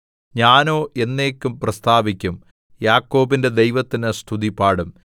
ഞാനോ എന്നേക്കും പ്രസ്താവിക്കും യാക്കോബിന്റെ ദൈവത്തിന് സ്തുതിപാടും